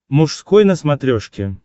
мужской на смотрешке